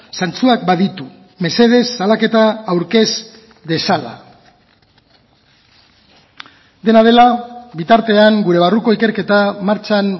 zantzuak baditu mesedez salaketa aurkez dezala dena dela bitartean gure barruko ikerketa martxan